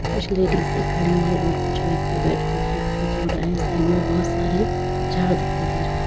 कुछ लेडीज़े खड़ी हैं और कुछ व्यक्ति बैठ के फूलों को तोड़ रहे हैं। साइड में बहोत सारे झाड़ दिखाई दे रहे हैं।